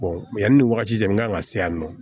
yanni nin wagati cɛ in kan ka se yan nɔ